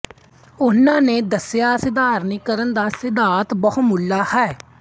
ਉਨ੍ਹਾਂ ਨੇ ਦੱਸਿਆ ਸਾਧਾਰਣੀਕਰਨ ਦਾ ਸਿਧਾਂਤ ਬਹੁਮੁੱਲਾ ਹੈ